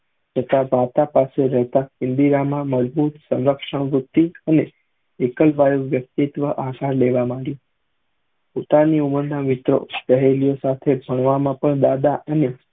તથા પાસે રેહતા ઇન્દિરા માં મજબુત સંરક્ષણ હતું અને વ્યક્તિત્ક આસ લેવા માંગી પોતની ઉમર ના મિત્રો સહેલીયો સાથે બનવા માં પણ દાદા અને